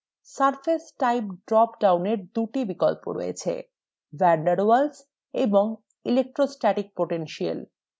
surface type drop down der দুটি বিকল্প রয়েছে: van der waals এবং electrostatic potential